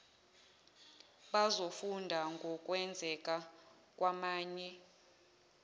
bazofunda ngokwenzeka kwamanye